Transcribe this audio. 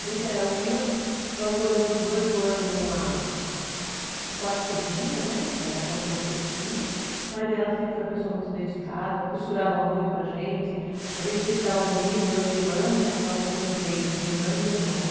A gente era humilde, nós moramos dezoito anos num quarto de cozinha, né, que era a condição que eles tinham, mas ela sempre foi uma pessoa muito dedicada, costurava muito para gente, a gente sempre estava bonita, eu e minha irmã, que nós somos em três, minha irmã e meu irmão, né?